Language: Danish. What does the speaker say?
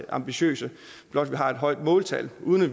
ambitiøse blot vi har et højt måltal uden at